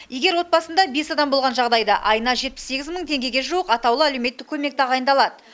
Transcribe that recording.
егер отбасында бес адам болған жағдайда айына жетпіс сегіз мың теңгеге жуық атаулы әлеуметтік көмек тағайындалады